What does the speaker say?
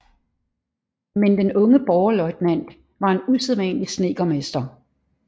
Men den unge borgerløjtnant var en usædvanlig snedkermester